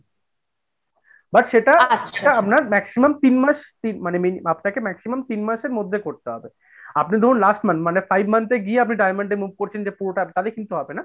but সেটা আপনার maximum তিন মাস মানে আপনাকে মি maximum তিন মাসের মধ্যে করতে হবে, আপনি ধরুন last month মানে five month এ গিয়ে আপনি diamond এ move করছেন যে পুরোটা তাহলে কিন্তু হবে না।